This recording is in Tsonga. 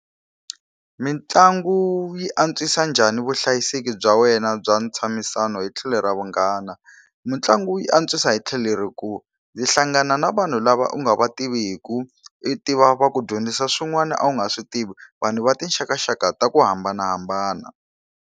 Mitlangu yi antswisa njhani vuhlayiseki bya wena bya ntshamisano hi tlhelo ra vunghana? Mitlangu yi antswisa hi tlhelo ri kulu. U hlangana na vanhu lava u nga va tivi, i tiva va ku dyondzisa swin'wana a wu nga swi tivi, vanhu va tinxakaxaka ta ku hambanahambana.